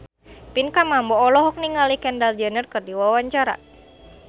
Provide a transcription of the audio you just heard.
Pinkan Mambo olohok ningali Kendall Jenner keur diwawancara